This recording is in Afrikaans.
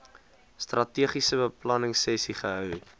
strategiese beplanningsessies gehou